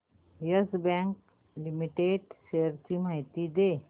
yes bank limited shares ची माहिती दे